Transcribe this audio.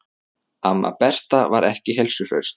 Amma Berta var ekki heilsuhraust.